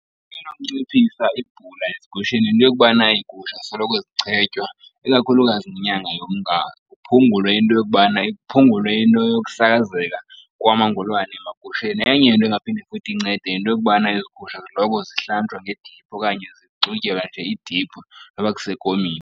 Enonciphisa ibhula ezigusheni yinto yokubana iigusha zisoloko zichetywa ikakhulukazi ngenyanga yoMnga, kuphungulwe into yokubana, kuphungulwe into yokusakazeka kwamangolwane emagusheni. Enye into engaphinde futhi incede yinto yokubana ezi gusha ziloko zihlanjwa ngediphu, okanye zixutyelwa nje idiphu noba kusekomini.